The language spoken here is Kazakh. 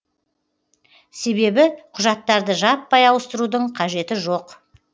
себебі құжаттарды жаппай ауыстырудың қажеті жоқ